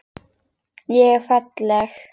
Ég er falleg.